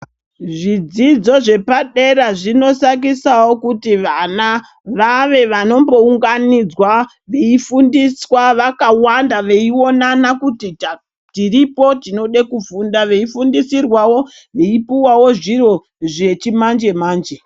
Zvidzidzo zvepa dera zvino sakisawo kuti vana vave vanombo unganidzwa vei fundiswa vakawanda vei onana kuti tiripo tinode kufunda vei fundisirwawo vei puwawo zviro zvechi manje manje.